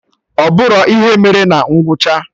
Ọ bụrọ ihe mere na ngwụcha!